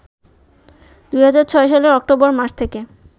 ২০০৬ সালের অক্টোবর মাস থেকে